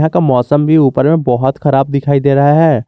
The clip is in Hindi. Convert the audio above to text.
क मौसम भी ऊपर में बहोत खराब दिखाई दे रहा है।